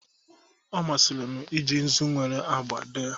Ọ masịrị m iji nzu nwere agba dee